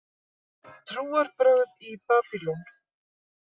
Trúarbrögð í Babýlon